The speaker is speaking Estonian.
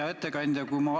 Hea ettekandja!